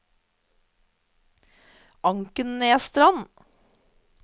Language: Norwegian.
Ankenesstrand